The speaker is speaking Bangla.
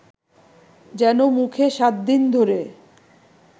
যেনো মুখে সাতদিন ধ’রে